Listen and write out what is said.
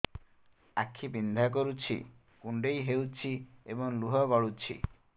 ଆଖି ବିନ୍ଧା କରୁଛି କୁଣ୍ଡେଇ ହେଉଛି ଏବଂ ଲୁହ ଗଳୁଛି